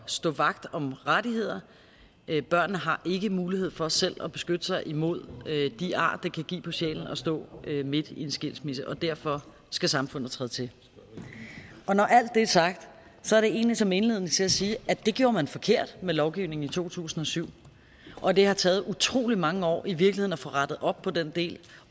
stå vagt om rettigheder børnene har ikke mulighed for selv at beskytte sig imod de ar det kan give på sjælen at stå midt i en skilsmisse og derfor skal samfundet træde til og når alt det er sagt så er det egentlig som indledning til at sige at det gjorde man forkert med lovgivningen i to tusind og syv og det har taget utrolig mange år i virkeligheden at få rettet op på den del